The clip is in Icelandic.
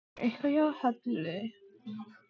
Kannski var eitthvað að hjá Halla.